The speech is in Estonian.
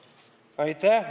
Aitäh!